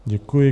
Děkuji.